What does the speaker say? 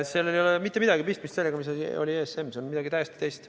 " Sellel ei ole mitte midagi pistmist sellega, mis oli ESM, see on midagi täiesti muud.